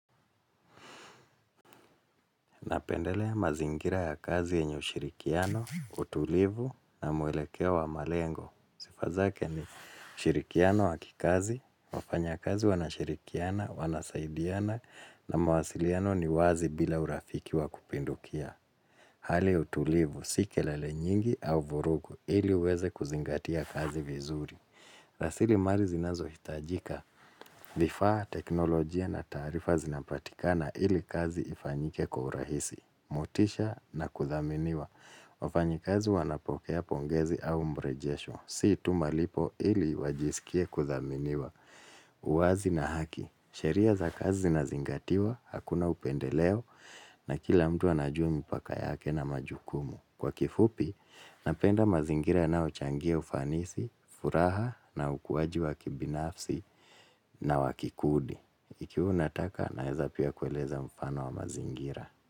Napendelea mazingira ya kazi yenye ushirikiano, utulivu na mwelekea wa malengo. Sifazake ni ushirikiano wa kikazi, wafanya kazi wanashirikiana, wanasaidiana na mawasiliano ni wazi bila urafikiwa kupindukia. Hali utulivu, sikelele nyingi au vurugu ili uweze kuzingatia kazi vizuri. Rasili mari zinazo hitajika vifaa teknolojia na tarifa zinapatikana ili kazi ifanyike kwa urahisi. Motisha na kuthaminiwa wafanyikazi wanapokea pongezi au mbrejesho Si tumalipo ili wajisikie kuthaminiwa uwazi na haki sheria za kazi zingatiwa Hakuna upendeleo na kila mtu anajua mpaka yake na majukumu Kwa kifupi Napenda mazingira yanayochangia ufanisi furaha na ukuwaji wa kibinafsi na wakikudi Ikiu nataka na heza pia kueleza mfano wa mazingira.